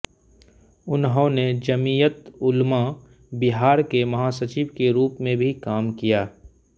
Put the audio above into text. उन्होंने जमीयत उलमा बिहार के महासचिव के रूप में भी काम किया